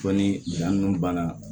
Fo ni dan nunnu banna